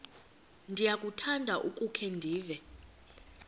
ndiyakuthanda ukukhe ndive